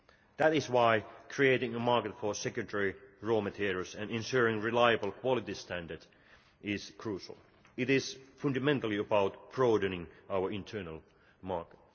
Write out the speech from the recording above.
That is why creating a market for secondary raw materials and ensuring a reliable quality standard is crucial. It is fundamentally about broadening our internal market.